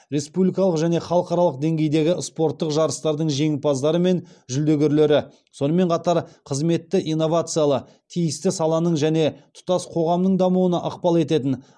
республикалық және халықаралық деңгейдегі спорттық жарыстардың жеңімпаздары мен жүлдегерлері сонымен қатар қызметті инновациялы тиісті саланың және тұтас қоғамның дамуына ықпал ететін